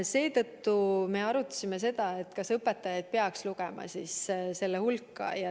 Seetõttu me arutasimegi, kas õpetajad peaks samuti lugema eesliinitöötajate hulka.